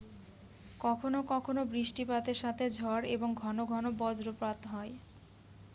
কখনও কখনও বৃষ্টিপাতের সাথে ঝড় এবং ঘন ঘন বজ্রপাত হয়